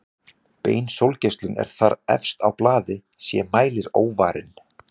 Bein sólgeislun er þar efst á blaði sé mælir óvarinn.